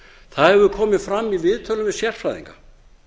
það hefur komið fram í viðtölum við sérfræðinga